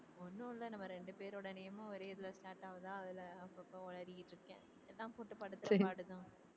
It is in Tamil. ஒண்ணும் இல்ல நம்ம ரெண்டு பேரோட name மும் ஒரே இதுல start ஆகுதா அதுல அப்பப்ப உளறிட்டு இருக்கே போட்டு படுத்துற பாடுதா